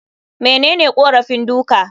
Menene korafin duka?